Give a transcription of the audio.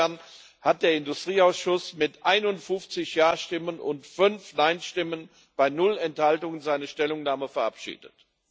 Insofern hat der Industrieausschuss mit 51 Jastimmen und 5 Neinstimmen bei 0 Enthaltungen seine Stellungnahme verabschiedet.